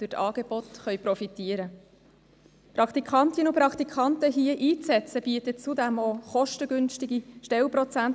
Praktikantinnen und Praktikanten hier einzusetzen, bietet kostengünstige Stellenprozente.